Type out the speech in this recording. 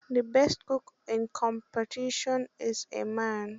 The best cook in the compettition is a man.